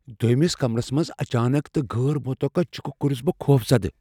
دویمِس كمرس منٛز اچانك تہٕ غٲر مُتوقع چِكہِ كورس بہٕ خوفزدٕ ۔